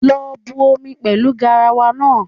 Lọ bu omi pẹlu garawa naa